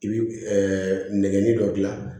I bi nɛgɛ dɔ gilan